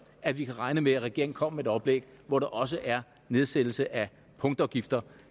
at vi kan regne med at regeringen kommer med et oplæg hvor der også er nedsættelse af punktafgifter